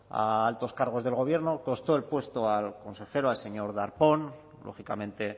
a altos cargos del gobierno costó el puesto al consejero al señor darpón lógicamente